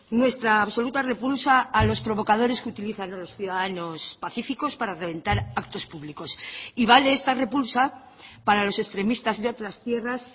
nuestra absoluta repulsa a los provocadores que utilizan a los ciudadanos pacíficos para reventar actos públicos y vale esta repulsa para los extremistas de otras tierras